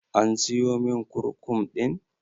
An siyomin kurkum ɗin?